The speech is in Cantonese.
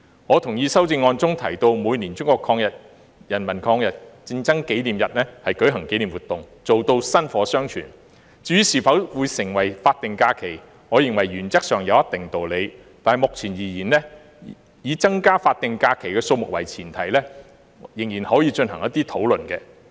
我同意修正案中提到在每年中國人民抗日戰爭勝利紀念日舉行紀念活動，做到薪火相傳，至於是否要定為法定假期，我認為原則上有一定道理，但目前而言，以增加法定假期的數目為前提仍然可以進行討論。